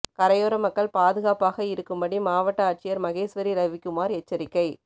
கரையோர மக்கள் பாதுகாப்பாக இருக்கும்படி மாவட்ட ஆட்சியர் மகேஸ்வரி ரவிகுமார் எச்சரிக்கை